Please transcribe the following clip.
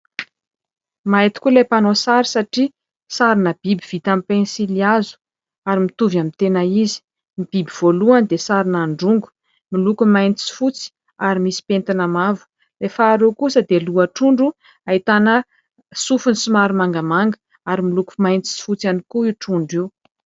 Mahay tokoa ilay mpanao sary satria sary biby vita amin'ny pensily hazo ary mitovy amin'ny tena izy. Ny biby voalohany dia sary androngo miloko mainty sy fotsy ary misy pentina mavo. Ilay faharoa kosa dia loha trondro ahitana sofiny somary mangamanga ary miloko mainty sy fotsy ihany koa io trondro io.